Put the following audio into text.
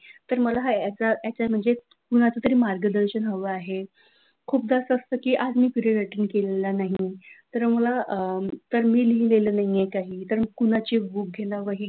तर मला याचा म्हणजे कोणाचं तरी मार्गदर्शन हवं आहे म खूपदा असं असतं की असतो की पिरियड केला नाही तर मला अ तर मी लिहिलेलं नाही काही, तर मी कुणाची बुक घेणार वही घेणार,